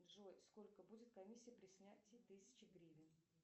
джой сколько будет комиссия при снятии тысячи гривен